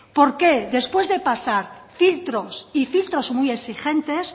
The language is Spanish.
por qué después de pasar filtros y filtros muy exigentes